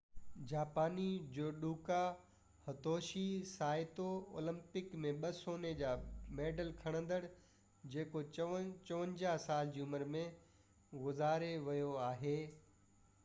جاپاني جوڊوڪا Hitoshi Saito Olympic ۾ ٻہ سوني جا ميڊل کٽيندڙ جيڪو 54 سالن جي عمر ۾ گذاري ويو آهي